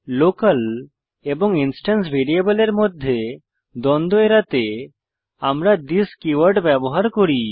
local এবং instance ভ্যারিয়েবলের মধ্যে দ্বন্দ্ব এড়াতে আমরা থিস কীওয়ার্ড ব্যবহার করি